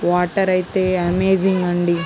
Water ఐతే amazing అండి.